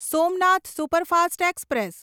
Somnath superfast express